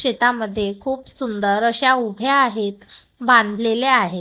शेतामध्ये खूप सुंदर अशा उभ्या आहेत बांधलेले आहेत.